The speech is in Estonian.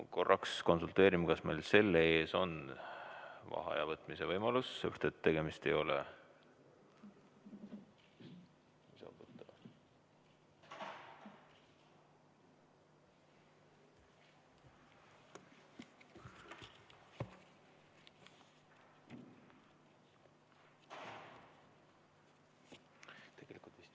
Korraks konsulteerin, kas meil selle ees on vaheaja võtmise võimalus, sellepärast et tegemist ei ole ...